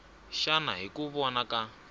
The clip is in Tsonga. xana hi ku vona ka